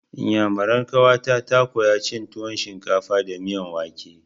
Iyamuran ƙawata ta koya cin tuwon shinkafa da miyan wake.